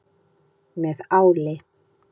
Með áli.